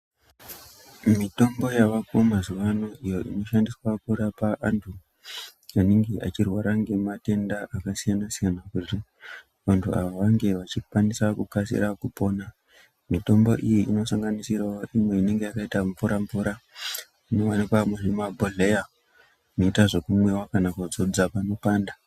Mitombo yavako mazuva ano iyo ino shandiswa kurapa antu anenge achirwara nge matenda aka siyana siyana kuti vantu ava vange vachi kwanisa kukasira kupona mitombo iyi ino sanganisirawo imwe inenge yaka ita mvura mvura ino wanikwa muzvi mabhohleya inoita zveku mwiwa kana kudzodza pano panda.